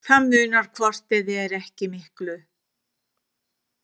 Það munar hvort eð er ekki miklu.